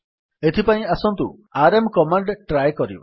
ଏଥିପାଇଁ ଆସନ୍ତୁ RM command try କରିବା